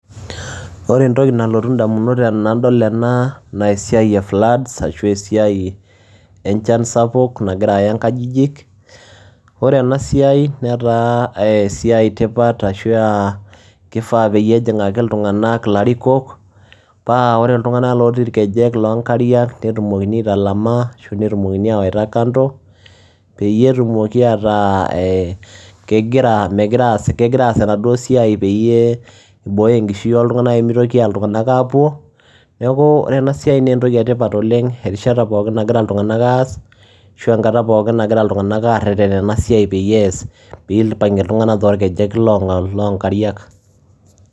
Ore entoki nalotu ndamunot enadol ena naa esiai e floods ashu esiai enchan sapuk nagira aya inkajijik, ore ena siai netaa ee esiai e tipat ashu aa kifaa peyie ejing'aki iltung'anak ilarikok paa ore iltung'anak lotii irkejek loo nkariak netumoki aitalama ashu netumokini ayawaita kando, peyie etumoki aataa ee kegira megira aas kegira aas enaduo siai peyie ibooyo enkishui ooltung'anak peyie mitoki iltung'anak aapuo. Neeku ore ena siai nee entoki e tipat oleng' erishata pookin nagira iltung'anak aas ashu enkata pookin nagira iltung'anak aareren ena siai peyie ees piipang'e iltung'anak torkejek loo nkariak.